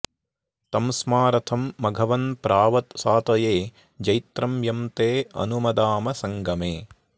तं स्मा रथं मघवन्प्राव सातये जैत्रं यं ते अनुमदाम संगमे